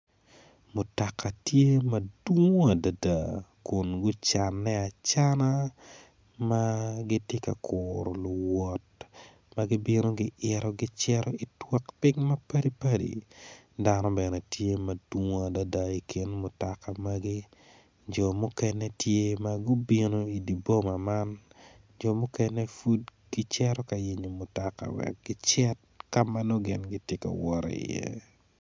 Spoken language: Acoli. Mutoka tye madwong adada kun gucanne acana ma gitye ka kuru luwot ma gibino giito gicito i kabedo mapadipadi dano bene tye madwong adada i kin mutoka magi jo mukene gitye ma gubino i dye boma man jo muken epud gicito ka yenyo mutoka wek gicit ka ma nongo gitye ka wot iye.